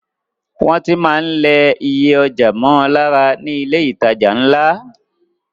Wọ́n tí máa ń lẹ iye ọjà mọ́ lára ní ilé ìtajà ńlá.